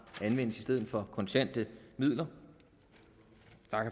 anvendes i stedet for kontante midler